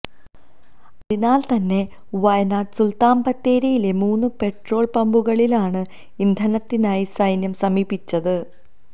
അതിനാല് തന്നെ വയനാട് സുല്ത്താന് ബത്തേരിയിലെ മൂന്ന് പെട്രോള് പമ്പുകളിലാണ് ഇന്ധനത്തിനായി സൈന്യം സമീപിച്ചത്